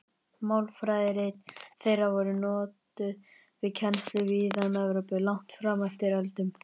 Málfræðirit þeirra voru notuð við kennslu víða um Evrópu langt fram eftir öldum.